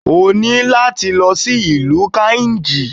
Oní láti lọ sí ìlú Kainji.